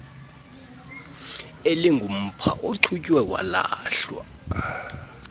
elingumpha ochutywe walahlwa